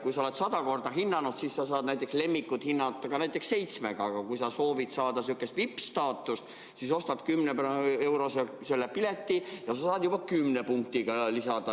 Kui sa oled 100 korda hinnanud, siis sa saad lemmikut hinnata ka näiteks seitsmega, aga kui sa soovid saada sellist VIP-staatust, siis ostad 10-eurose pileti ja sa saad juba 10 punktiga hinnata.